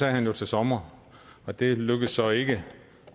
han jo til sommer og det lykkedes så ikke